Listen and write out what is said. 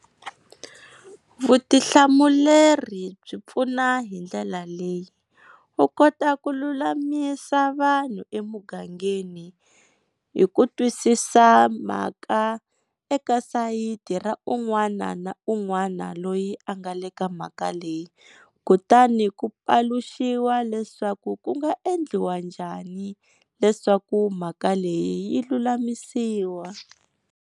Vutihlamuleri byi pfuna hi ndlela leyi, u kota ku lulamisa vanhu emugangeni hi ku twisisa mhaka eka sayiti ra un'wana na un'wana loyi a nga le ka mhaka leyi kutani ku paluxiwa leswaku ku nga endliwa njhani leswaku mhaka leyi yi lulamisiwa.